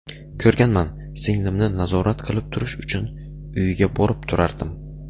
Ko‘rganman, singlimni nazorat qilib turish uchun uyiga borib turardim.